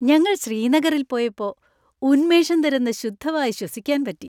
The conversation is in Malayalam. ഞങ്ങൾ ശ്രീനഗറിൽ പോയപ്പോ ഉന്മേഷം തരുന്ന ശുദ്ധവായു ശ്വസിക്കാൻ പറ്റി.